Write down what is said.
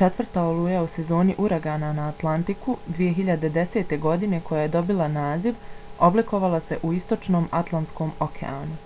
četvrta oluja u sezoni uragana na atlantiku 2010. godine koja je dobila naziv oblikovala se u istočnom atlantskom okeanu